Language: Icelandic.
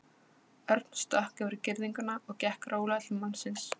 Örn stökk yfir girðinguna og gekk rólega til mannsins.